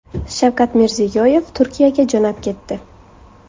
Shavkat Mirziyoyev Turkiyaga jo‘nab ketdi.